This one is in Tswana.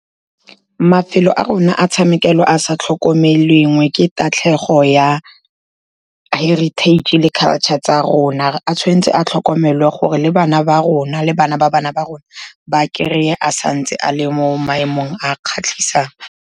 Mafelo a rona a tshamekelwa a sa tlhokomelweng ke tatlhego ya heritage-e le culture tsa rona, a tshwan'tse a tlhokomelwe gore le bana ba rona le bana ba bana ba rona, ba kry-e a santse a le mo maemong a kgatlhisang.